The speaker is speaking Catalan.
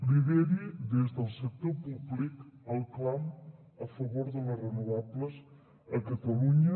lideri des del sector públic el clam a favor de les renovables a catalunya